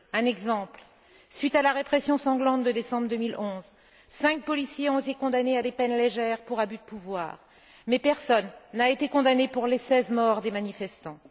Un exemple suite à la répression sanglante de décembre 2011, cinq policiers ont été condamnés à des peines légères pour abus de pouvoir, mais personne n'a été condamné pour les seize morts des manifestants.